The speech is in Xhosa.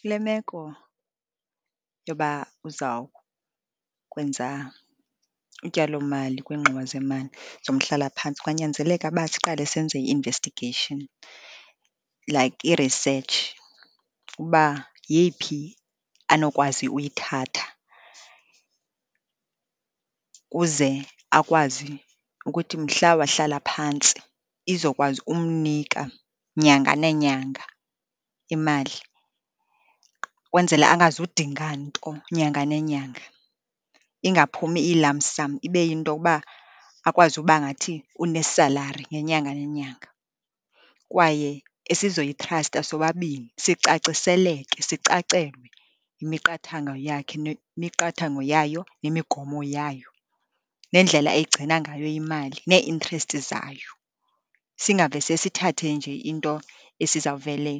Kule meko yoba uzawukwenza utyalomali kwiingxowa zemali zomhlalaphantsi, kwanyanzeleka uba siqale senze i-investigation like i-research, uba yeyiphi anokwazi uyithatha, ukuze akwazi ukuthi mhla wahlala phantsi izokwazi ukumnika nyanga neenyanga imali, kwenzela angazudinga nto nyanga nenyanga. Ingaphumi iyi-lump sum, ibe yinto yokuba akwazi uba ngathi une-salary ngenyanga nenyanga. Kwaye esizoyithrasta sobabini sicaciseleke sicacelwe yimiqathango yakhe nemiqathango yayo nemigomo yayo, nendlela eyigcina ngayo imali, nee-interest zayo. Singavese sithathe nje into esizawuvele